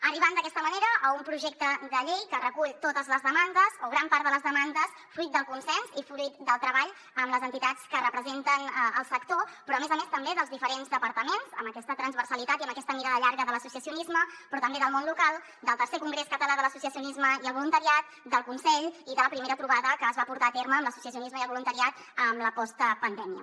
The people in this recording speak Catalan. arribant d’aquesta manera a un projecte de llei que recull totes les demandes o gran part de les demandes fruit del consens i fruit del treball amb les entitats que representen el sector però a més a més també dels diferents departaments amb aquesta transversalitat i amb aquesta mirada llarga de l’associacionisme però també del món local del tercer congrés català de l’associacionisme i el voluntariat del consell i de la primera trobada que es va portar a terme amb l’associacionisme i el voluntariat en la postpandèmia